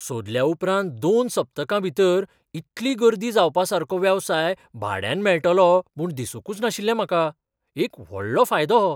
सोदल्या उपरांत दोन सप्तकां भितर इतली गर्दी जावपासारको वेवसाय भाड्यान मेळटलो म्हूण दिसूंकच नाशिल्लें म्हाका. एक व्हडलो फायदो हो.